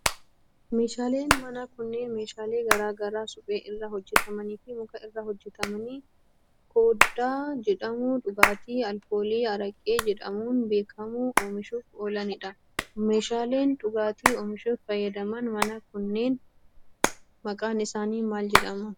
Meeshaaleen manaa kunneen, meeshaalee garaa garaa suphee irraa hojjatamanii fi muka irraa hojjatame koddaa jedhamu dhugaatii alkoolii araqee jedhamuun beekamu oomishuuf oolanii dha. Meeshaaleen dhugaatii oomishuuf fayyadan manaa kunneen, maqaan isaanii maal jedhama?